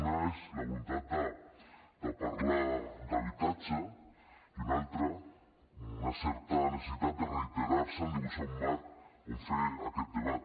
una és la voluntat de parlar d’habitatge i una altra una certa necessitat de reiterar se en dibuixar un marc on fer aquest debat